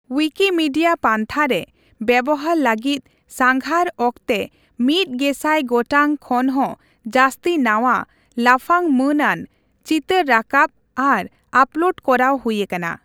Wikimedia ᱯᱟᱱᱛᱷᱟᱨᱮ ᱵᱮᱵᱚᱦᱟᱨ ᱞᱟᱹᱜᱤᱫ ᱥᱟᱸᱜᱷᱟᱨ ᱚᱠᱛᱮ ᱢᱤᱛ ᱜᱮᱥᱟᱭ ᱜᱚᱴᱟᱝ ᱠᱷᱚᱱᱦᱚᱸ ᱡᱟᱹᱥᱛᱤ ᱱᱟᱣᱟ, ᱞᱟᱯᱷᱟᱝᱼᱢᱟᱹᱱᱟᱱ, ᱪᱤᱛᱟᱹᱨ ᱨᱟᱠᱟᱵ ᱟᱨ ᱟᱯᱞᱳᱰ ᱠᱚᱨᱟᱣ ᱦᱩᱭᱟᱠᱟᱱᱟ ᱾